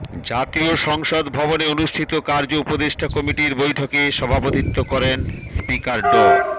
জাতীয় সংসদ ভবনে অনুষ্ঠিত কার্য উপদেষ্টা কমিটির বৈঠকে সভাপতিত্ব করেন স্পিকার ড